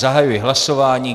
Zahajuji hlasování.